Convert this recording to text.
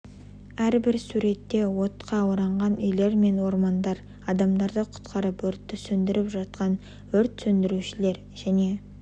әрбір суретте отға оранған үйлер мен ормандар адамдарды құтқарып өртті сөндіріп жатқан өрт сөндірушілер және